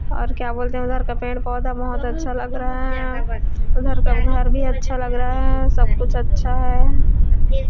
और क्या बोलते हैं उधर का पेड़- पौधा बहोत अच्छा लग रहा है उधर का घर भी अच्छा लग रहा है सब कुछ अच्छा है।